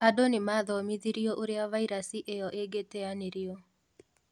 Andũ nĩmathomithirĩo ũria vairasi ĩyo ĩngĩteanĩrio